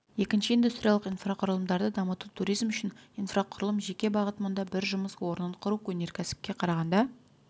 екінші индустриялық инфрақұрылымдарды дамыту туризм үшін инфрақұрылым жеке бағыт мұнда бір жұмыс орнын құру өнеркәсіпке қарағанда